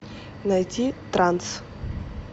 найти транс